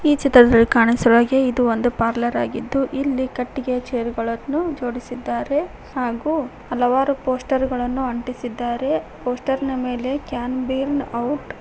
ಈ ಚಿತ್ರದಲ್ಲಿ ಕಾಣಿಸಿರುವ ಹಾಗೆ ಇದು ಒಂದು ಪಾರ್ಲರ್ ಆಗಿದ್ದು ಇಲ್ಲಿ ಕಟ್ಟಿಗೆ ಚೇರ್ ಗಳನ್ನು ಜೋಡಿಸಿದ್ದಾರೆ ಹಾಗು ಹಲವಾರು ಪೋಸ್ಟರ್ ಗಳನ್ನು ಅಂಟಿಸಿದ್ದಾರೆ ಪೋಸ್ಟರ್ ನ ಮೇಲೆ ಕ್ಯಾನ್ ಬ್ರಿನ್ಗ್ ಔಟ್ --